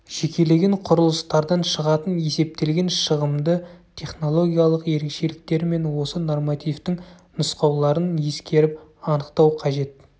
жекелеген құрылыстардан шығатын есептелген шығымды технологиялық ерекшеліктер мен осы нормативтің нұсқауларын ескеріп анықтау қажет